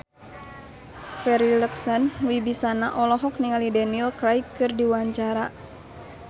Farri Icksan Wibisana olohok ningali Daniel Craig keur diwawancara